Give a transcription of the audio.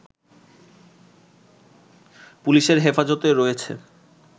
পুলিশের হেফাজতে রয়েছে